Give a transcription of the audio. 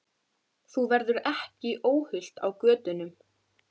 Þú verður ekki óhult á götunum.